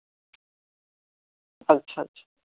আচ্ছা আচ্ছা